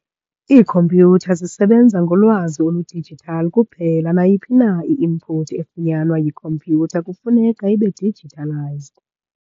Iikhompyutha zisebenza ngolwazi olu-digital kuphela, nayiphi na i-input efunyanwa yikhompyutha kufuneka ibe-digitalised.